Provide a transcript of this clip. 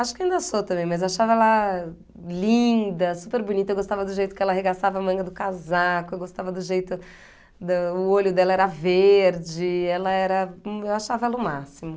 Acho que ainda sou também, mas achava ela linda, super bonita, eu gostava do jeito que ela arregaçava a manga do casaco, eu gostava do jeito do o olho dela era verde, ela era, eu achava ela o máximo.